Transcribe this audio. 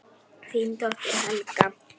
Þín dóttir Helga.